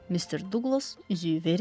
Mister Duqlas üzüyü verir.